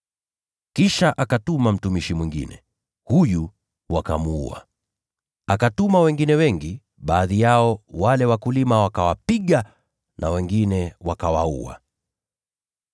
Kisha akamtuma mtumishi mwingine, naye huyo wakamuua. Akawatuma wengine wengi; baadhi yao wakawapiga, na wengine wakawaua.